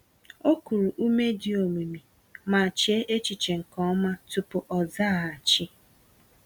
O kuru ume dị omimi, ma chee echiche nke ọma tupu ọ zaghachi.